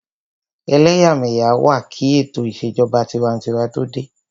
Ẹlẹ́yàmẹ́yà wà kí ètò ìṣèjọba tinwatinwa tó dé